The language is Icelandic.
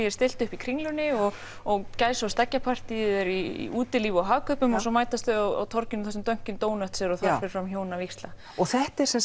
er stillt upp í Kringlunni og og gæsa og eru í útilíf og Hagkaupum og svo mætast þau á torginu þar sem Dunkin donuts er og þar fer fram hjónavígsla þetta er